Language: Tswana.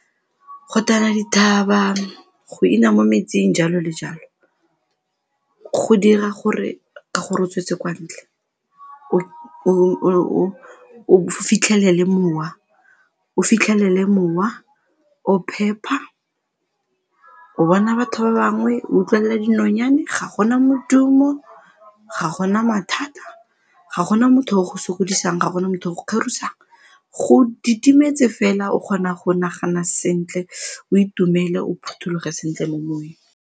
Go tana dithaba, go ina mo metsing jalo le jalo go dira gore ka gore o tswetse kwa ntle o fitlhelele mowa, o fitlhelele mowa o phepa, o bona batho ba bangwe, o utlwela dinonyane, ga gona modumo, ga gona mathata, ga gona motho o go sokodisang, ga gona motho o go tlhorisang, go didimetse fela o kgona go nagana sentle, o itumele, o phuthologe sentle mo moweng.